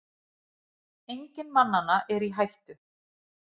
Enginn mannanna er í hættu